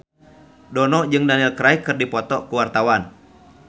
Dono jeung Daniel Craig keur dipoto ku wartawan